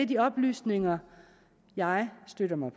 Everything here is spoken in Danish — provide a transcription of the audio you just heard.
de oplysninger jeg støtter mig